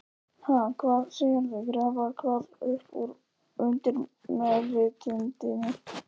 Ha, hvað segirðu, grafa hvað upp úr undirmeðvitundinni?